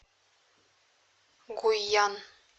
гуйян